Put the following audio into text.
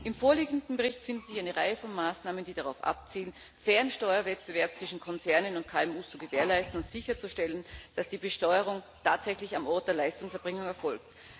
Im vorliegenden Bericht findet sich eine Reihe von Maßnahmen, die darauf abzielen, fairen Steuerwettbewerb zwischen Konzernen und KMU zu gewährleisten und sicherzustellen, dass die Besteuerung tatsächlich am Ort der Leistungserbringung erfolgt.